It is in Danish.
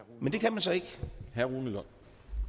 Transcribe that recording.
jeg og